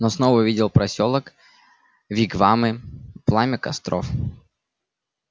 но снова увидел посёлок вигвамы пламя костров